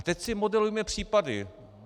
A teď si modelujme případy.